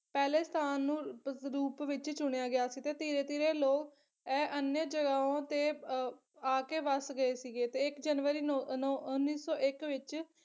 ਪਹਿਲੇ ਸਥਾਨ ਨੂੰ ਰੁ ਰੂਪ ਵਿੱਚ ਚੁਣਿਆ ਗਿਆ ਸੀਗਾ ਤੇ ਧੀਰੇ ਧੀਰੇ ਲੋਕ ਇਹ ਅਨਿਯਾ ਜਗਾਹੋਂ ਤੇ ਅਹ ਆਕੇ ਵੱਸ ਗਏ ਸੀਗੇ ਤੇ ਇੱਕ ਜਨਵਰੀ ਨੌ ਨੌ ਉੱਨੀ ਸੌ ਇੱਕ ਵਿੱਚ